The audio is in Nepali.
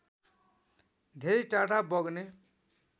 धेरै टाढा बग्ने